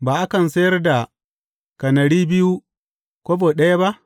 Ba akan sayar da kanari biyu kobo ɗaya ba?